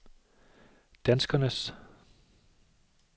danskernes